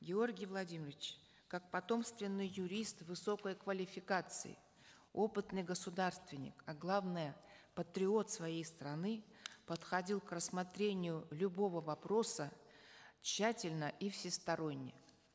георгий владимирович как потомственный юрист высокой квалификации опытный государственник а главное патриот своей страны подходил к рассмотрению любого вопроса тщательно и всесторонне